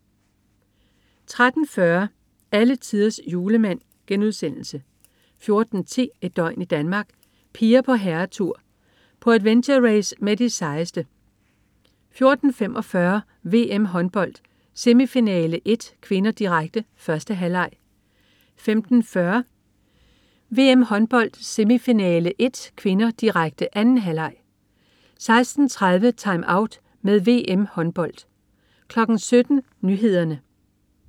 13.40 Alletiders Julemand* 14.10 Et døgn i Danmark: Piger på herretur. På adventure-race med de sejeste 14.45 VM-Håndbold: Semifinale 1 (k), direkte. 1. halvleg 15.40 VM-Håndbold: Semifinale 1 (k), direkte. 2. halvleg 16.30 TimeOut med VM-Håndbold 17.00 Nyhederne